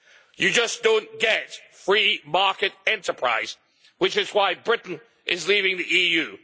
You just don't get free market enterprise, which is why Britain is leaving the EU.